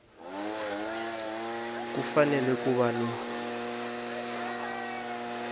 ku fanele ku va ni